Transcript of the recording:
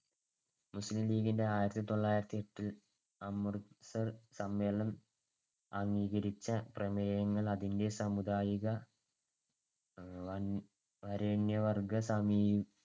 മുസ്ലീം ലീഗിന്‍ടെ ആയിരത്തിതൊള്ളായിരത്തിയെട്ട് അമൃതസർ സമ്മേളനം അംഗീകരിച്ച പ്രമേയങ്ങൾ അതിന്‍ടെ സാമുദായിക വരേണ്യ വർഗ്ഗ സമീ